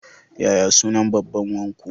Yaya sunnan babban wanku?